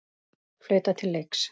Flautað til leiks.